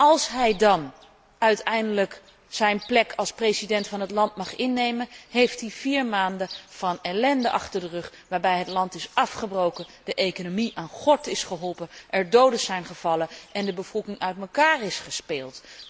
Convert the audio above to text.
Als hij dan uiteindelijk zijn plek als president van het land mag innemen, heeft hij vier maanden ellende achter de rug waarbij het land is afgebroken, de economie aan gort is geholpen, er doden zijn gevallen en de bevolking uit elkaar is gespeeld.